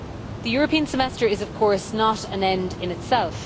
The European Semester is, of course, not an end in itself.